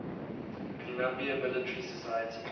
columbia military society